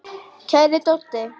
Kæri Doddi.